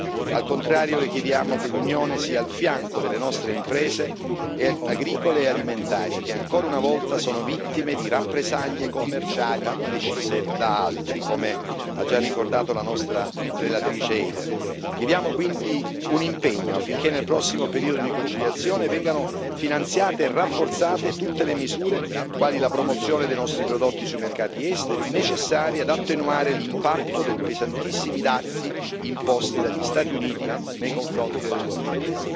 Non accetteremo quindi tagli al bilancio della politica agricola, al contrario, Le chiediamo che l'Unione sia al fianco delle nostre imprese agricole e alimentari che, ancora una volta, sono vittime di rappresaglie commerciali decise da altri, come ha già ricordato la nostra relatrice Eider Gardiazabal Rubial. Chiediamo, quindi, un impegno affinché nel prossimo periodo di conciliazione vengano finanziate e rafforzate tutte le misure, quali la promozione dei nostri prodotti sui mercati esteri, necessarie ad attenuare l'impatto dei pesantissimi dazi